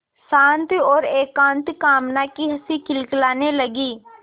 शांत और एकांत कामना की हँसी खिलखिलाने लगी